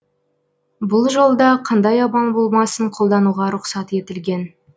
бұл жолда қандай амал болмасын қолдануға рұқсат етілген